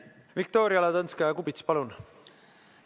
Viktoria Ladõnskaja-Kubits, palun!